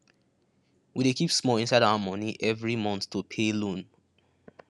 we dey keep small inside our money every month to pay loan